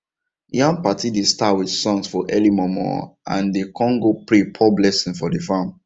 yam party dey start with songs for early mornmorn and dem con go pray pour blessing for the farm